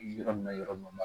Yɔrɔ min na yɔrɔ min na